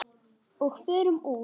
Og förum úr.